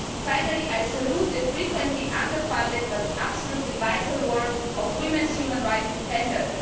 Finally, I salute the frequently under funded but absolutely vital work of women's human rights defenders.